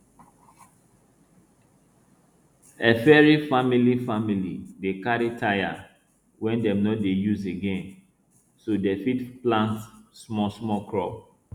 efiri famili famili dey carry tyre wey dem no dey use again so dem fit plant small small crop